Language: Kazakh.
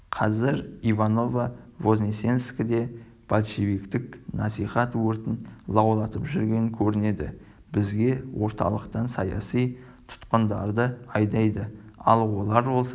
қазір иваново-вознесенскіде большевиктік насихат өртін лаулатып жүрген көрінеді бізге орталықтан саяси тұтқындарды айдайды ал олар болса